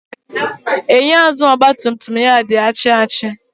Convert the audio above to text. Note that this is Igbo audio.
Enyo azụụ ọgba tum tum ya di achi achi.